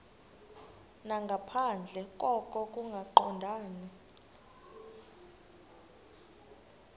nangaphandle koko kungaqondani